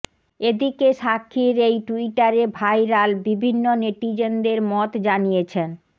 এদিকে সাক্ষীর এই ট্যুইটারে ভাইরাল বিভিন্ন নেটিজেনদের মত জানিয়েছেন